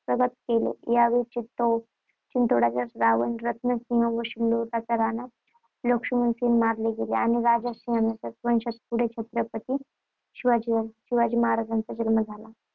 हस्तगत केले. या वेळी चित्तोड चित्तोडचा रावळ रत्नसिंह व सिसोद्याचा राणा लक्ष्मणसिंह मारले गेले. राणा लक्ष्मणसिंहांच्या वंशातच पुढे छत्रपती शिवरायांचा जन्म झाला.